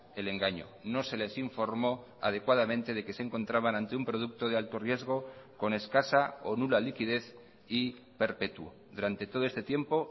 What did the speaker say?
el engaño no se les informó adecuadamente de que se encontraban ante un producto de alto riesgo con escasa o nula liquidez y perpetuo durante todo este tiempo